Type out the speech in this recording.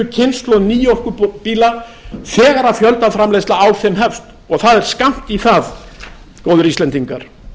kynslóð nýorkubíla þegar fjöldaframleiðsla á þeim hefst og það er skammt í það góðir íslendingar